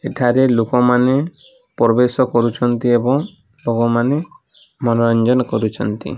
ଏଠାରେ ଲୋକୋ ମାନେ ପ୍ରବେଶ କରୁଛନ୍ତି ଏବଂ ଲୋକ ମାନେ ମନୋରଂଜନ କରୁଛନ୍ତି।